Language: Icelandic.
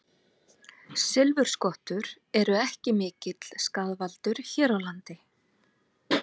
Silfurskottur eru ekki mikill skaðvaldur hér á landi.